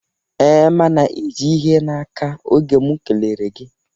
Ee, ma ị ji ihe n'aka oge m kelere gị